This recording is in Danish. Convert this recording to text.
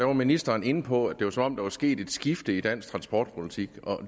var ministeren inde på at det var som om der var sket et skifte i dansk transportpolitik